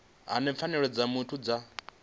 hani pfanelo dza muthu dza